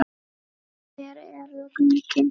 Hver eru gögnin?